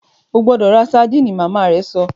O gbọdọ rá sardine! Màmá rẹ sọ